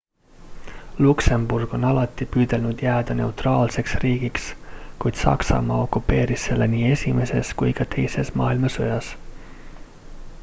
luksemburg on alati püüdnud jääda neutraalseks riigiks kuid saksamaa okupeeris selle nii esimeses kui ka teises maailmasõjas